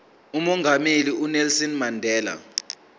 umongameli unelson mandela